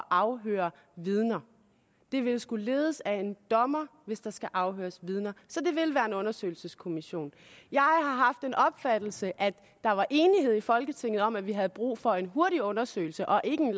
afhøre vidner den vil skulle ledes af en dommer hvis der skal afhøres vidner så det vil være en undersøgelseskommission jeg har haft den opfattelse at der var enighed i folketinget om at vi havde brug for en hurtig undersøgelse og ikke en